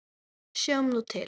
Sjáum nú til?